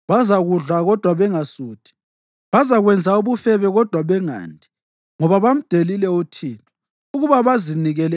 Bazakudla kodwa bangasuthi; bazakwenza ubufebe kodwa bangandi, ngoba bamdelile uThixo ukuba bazinikele